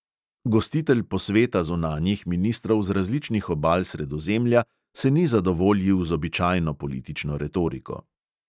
Gostitelj posveta zunanjih ministrov z različnih obal sredozemlja se ni zadovoljil z običajno politično retoriko.